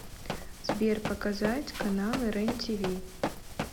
сбер показать каналы рен тиви